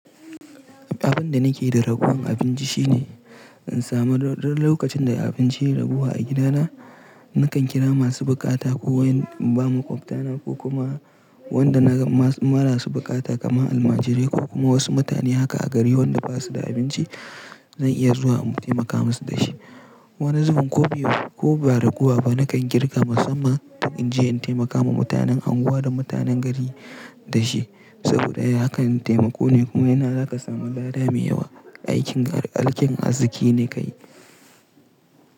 Abin da nake da raguwar abinci shine in samu duk lokacin da abinci ya ragu a gidana, nakan kira masu buƙata ko in ba ma ƙwaftana ko kuma wanda na ga marasa buƙata kamar almajirai ko kuma wasu mutane haka a gari wanda ba su da abinci, zan iya zuwa in taimaka musu da shi. Wani zubin ko ba raguwa ba nakan girka musamman in je in taimaka ma mutanen unguwa da mutanen gari da shi. Saboda haka taimako ne kuma yana zaka samu lada mai yawa. Aikin arziki ne ka yi.